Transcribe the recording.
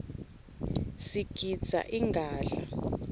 sigidza ingadla